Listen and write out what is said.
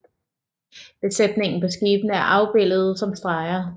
Besætningen på skibene er afbildet som streger